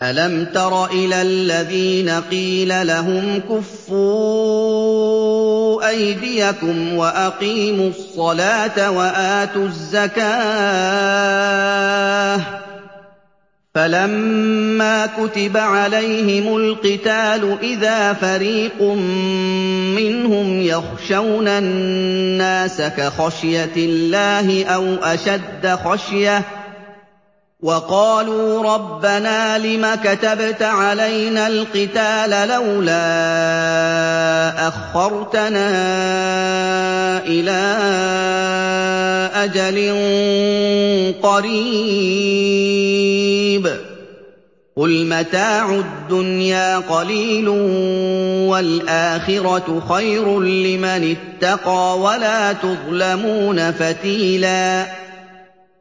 أَلَمْ تَرَ إِلَى الَّذِينَ قِيلَ لَهُمْ كُفُّوا أَيْدِيَكُمْ وَأَقِيمُوا الصَّلَاةَ وَآتُوا الزَّكَاةَ فَلَمَّا كُتِبَ عَلَيْهِمُ الْقِتَالُ إِذَا فَرِيقٌ مِّنْهُمْ يَخْشَوْنَ النَّاسَ كَخَشْيَةِ اللَّهِ أَوْ أَشَدَّ خَشْيَةً ۚ وَقَالُوا رَبَّنَا لِمَ كَتَبْتَ عَلَيْنَا الْقِتَالَ لَوْلَا أَخَّرْتَنَا إِلَىٰ أَجَلٍ قَرِيبٍ ۗ قُلْ مَتَاعُ الدُّنْيَا قَلِيلٌ وَالْآخِرَةُ خَيْرٌ لِّمَنِ اتَّقَىٰ وَلَا تُظْلَمُونَ فَتِيلًا